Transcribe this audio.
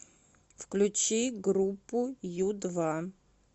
включи группу ю два